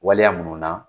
Waleya minnu na